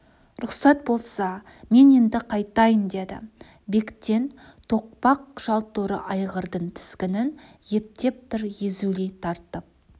рұқсат болса мен енді қайтайын деді бектен тоқпақ жал торы айғырдың тізгінін ептеп бір езулей тартып